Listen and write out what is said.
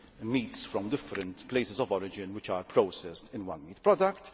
meats from different places of origin which are processed in one meat product.